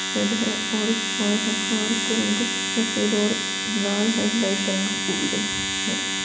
Head है और हार है और हार का रंग सफेद और लाल है लाइट का रंग गोल्डन है ।